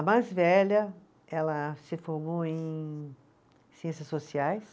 A mais velha, ela se formou em Ciências Sociais.